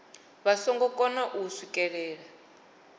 vha nga kona u swikelela